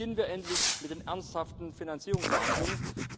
Beginnen wir endlich mit ernsthaften Finanzierungsverhandlungen.